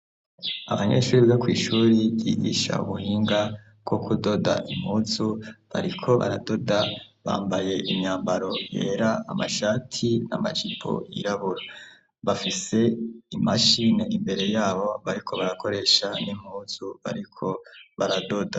Abanyeshure bo kwishure ryigisha ubuhinga bwo kudoda impuzu bariko baradoda bambaye imyambaro yera amashati, amajipo yirabura, bafise imashine imbere yabo bariko barakoresha n'impuzu bariko baradoda.